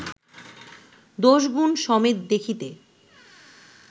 দোষ গুণ সমেত দেখিতে